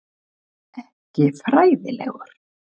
Ekki fræðilegur.